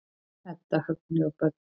Edda, Högni og börn.